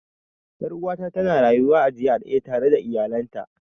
Er'uwa ta tana rayuwa a GRA tare da iyalan ta.